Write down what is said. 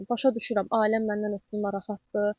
Başa düşürəm, ailəm məndən ötrü narahatdır.